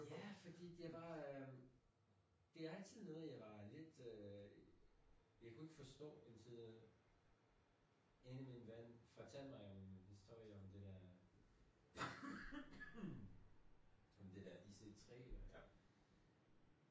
Ja fordi det var øh det altid noget jeg var lidt øh jeg kunne ikke forstå indtil en af min ven fortalte mig om historie om det der om det der IC3